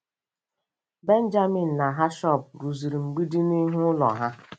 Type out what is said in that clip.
Benjaminu na Hashọb rụziri mgbidi n'ihu ụlọ ha.